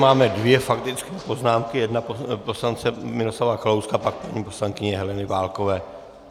Máme dvě faktické poznámky, jedna poslance Miroslava Kalouska, pak paní poslankyně Heleny Válkové.